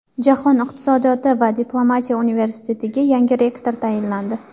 Jahon iqtisodiyoti va diplomatiya universitetiga yangi rektor tayinlandi .